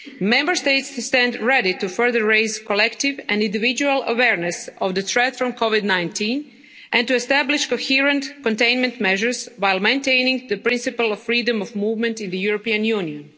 Member States stand ready to further raise collective and individual awareness of the threat from Covid-19 and to establish coherent containment measures while maintaining the principle of freedom of movement in the European Union.